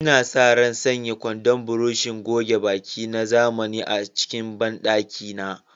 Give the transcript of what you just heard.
Ina sa ran sanya kwandon burushin goge baki na zamani a cikin bandakina.